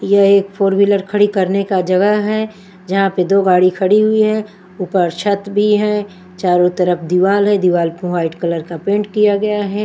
यह एक four wheeler खड़ी करने का जगह हैं जहाँ पर दो गाड़ी खड़ी हुई हैं ऊपर छत भी हैं चारों तरफ दीवाल है दीवाल पे वाइट कलर का पेंट किया गया है।